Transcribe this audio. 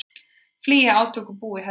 Flýja átökin og búa í hellum